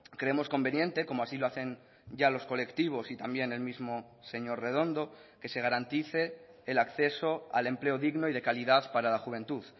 creemos conveniente como así lo hacen ya los colectivos y también el mismo señor redondo que se garantice el acceso al empleo digno y de calidad para la juventud